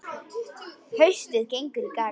Haustið gengur í garð.